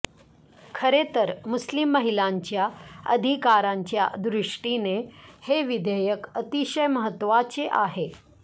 खरे तर मुस्लिम महिलांच्या अधिकारांच्या दृष्टीने हे विधेयक अतिशय महत्त्वाचे आहे